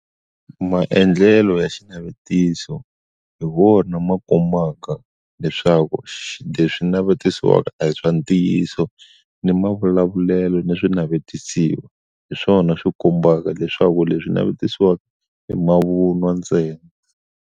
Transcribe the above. Maendlelo ya xinavetiso hi wona ma kombaka leswaku swi leswi navetisiwaka a hi swa ntiyiso ni mavulavulelo ni swi navetisiwa hi swona swi kombaka leswaku leswi navetisiwaka i mavunwa ntsena.